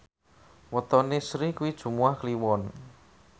wetone Sri kuwi Jumuwah Kliwon